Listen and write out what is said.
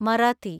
Marathi